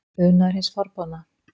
Unaður hins forboðna?